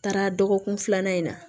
Taara dɔgɔkun filanan in na